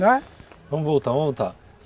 Não, é? Vamos voltar, vamos voltar.